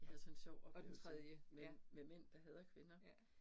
Og og den tredje ja, ja